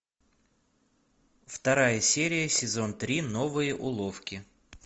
вторая серия сезон три новые уловки